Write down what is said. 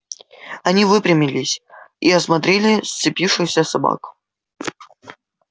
они выпрямились и осмотрели сцепившихся собак